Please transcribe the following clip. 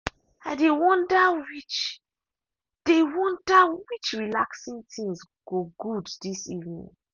i dey wonder which dey wonder which relaxing things go good this evening.